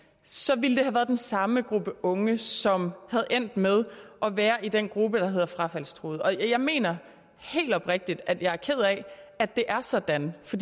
så ville det have været den samme gruppe unge som var endt med at være i den gruppe der hedder frafaldstruede og jeg mener helt oprigtigt at jeg er ked af at det er sådan for